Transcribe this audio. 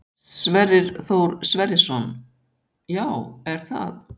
Sverrir Þór Sverrisson: Já, er það?